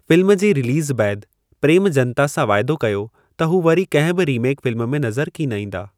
Film जे release बैदि, प्रेम जनता सां वाइदो कयो त हू वरी कंहिं बि रीमेक फिल्म में नज़रु कीन ईंदा।